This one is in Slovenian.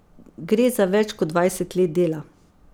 Gre za več kot dvajset let dela.